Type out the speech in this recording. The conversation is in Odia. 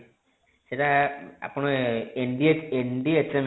ସେଟା ଆପଣ ଏନଡ଼ି NDHM